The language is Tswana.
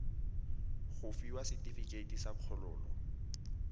go fiwa setefikeiti sa kgololo